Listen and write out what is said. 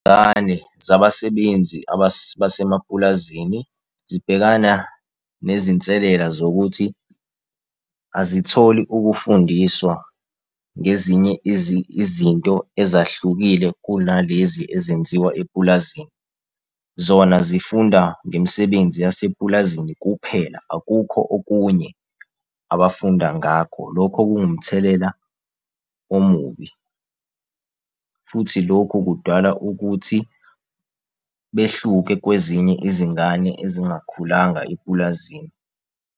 zabasebenzi basemapulazini zibhekana nezinselela zokuthi azitholi ukufundiswa ngezinye izinto ezahlukile kunalezi ezenziwa epulazini. Zona zifunda ngemisebenzi yasepulazini kuphela, akukho okunye abafunda ngakho, lokho kuwumthelela omubi. Futhi lokhu kudala ukuthi behluke kwezinye izingane ezingakhulanga epulazini.